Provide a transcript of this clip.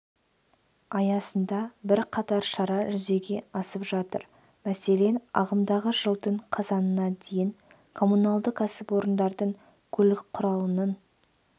аясында бірқатар шара жүзеге асып жатыр мәселен ағымдағы жылдың қазанына дейін коммуналды кәсіпорындардың көлік құралының